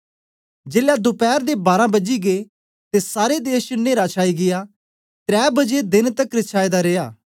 जेलै दोपैर दे बारां बजी गै ते सारे देश च न्हेरा छाई गीया त्रै बजे देन तकर छायेदा रिया